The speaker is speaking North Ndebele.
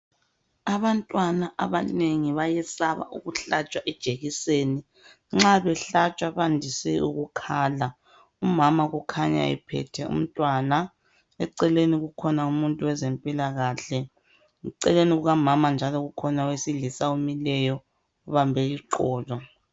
Abantwana abanengi bayesaba ukuhlatshwa ijekiseni nxa behlatshwa bandise ukukhala umama kukhanya ephethwe umntwana eceleni kukhona umuntu wezempilakahle eceleni kukamama njalo kukhona owesilisa omileyo ubambe iqolo